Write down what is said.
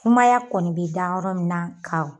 sumaya kɔni bɛ da yɔrɔ min na ka.